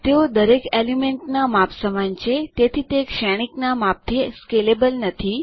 તેઓ દરેક એલિમેન્ટના માપ સમાન છે તેથી તે શ્રેણીકના માપથી સ્કેલેબલ નથી